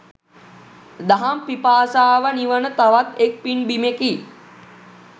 දහම් පිපාසාව නිවන තවත් එක් පින් බිමෙකි.